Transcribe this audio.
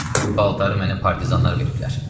Bu paltarı mənə partizanlar veriblər.